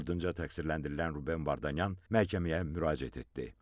Ardınca təqsirləndirilən Ruben Vardanyan məhkəməyə müraciət etdi.